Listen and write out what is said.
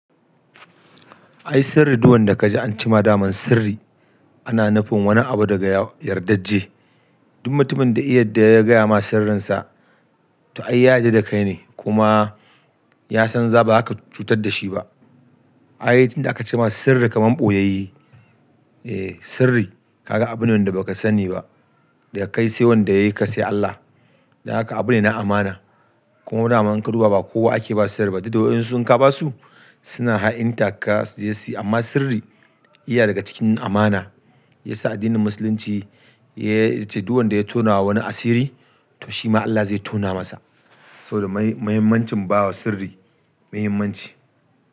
Ai sirri duk wanda ka ji an ce ma daman sirri ana nufin wani abu daga yardajje. Duk mutumin da iya da ya gaya ma sirrinsa to ai ya yarda da kai ne kuma ya san za ba zaka cutar dashi ba ai tinda aka ce ma sirri kaman ɓoyayye. Eh sirri kaga abune wanda baka sani ba daga kai sai wanda yayi ka sai Allah. Dan haka abune na amana. Kuma dama in ka duba ba kowa ake ba sirri ba, duk da wayansu in ka ba su suna ha'intar ka suje su yi, amma sirri iya daga cikin amana. Yasa addinin musulunci ya ce duk wanda ya tonawa wani asiri to shi ma Allah zai tona masa. Saboda muhimmancin bawa sirri muhimmanci.